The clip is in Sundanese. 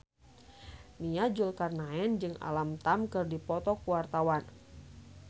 Nia Zulkarnaen jeung Alam Tam keur dipoto ku wartawan